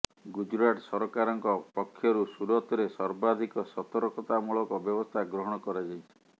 ଗୁଜରାଟ ସରକାରଙ୍କ ପକ୍ଷରୁ ସୁରତରେ ସର୍ବାଧିକ ସତର୍କତାମୂଳକ ବ୍ୟବସ୍ଥା ଗ୍ରହଣ କରାଯାଇଛି